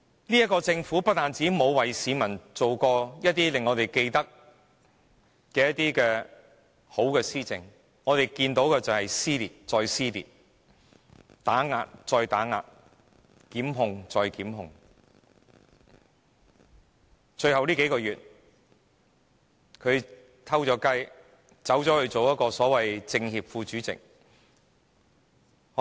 這個政府不但未曾推行令市民記得的良好施政，我們只看到撕裂再撕裂，打壓再打壓，檢控再檢控，最後數個月，他鑽空子出任政協副主席。